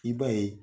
I b'a ye